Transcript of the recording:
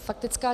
Faktická.